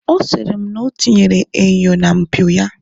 Ọ sịrị m na ọ tinyere enyo na mpio ya.